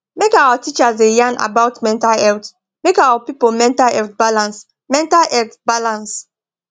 make our teachers da yan about mental health make our people mental health balance mental health balance